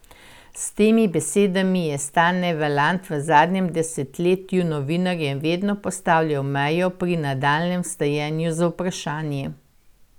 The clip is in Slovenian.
S temi besedami je Stane Valant v zadnjem desetletju novinarjem vedno postavljal mejo pri nadaljnjem vrtanju z vprašanji.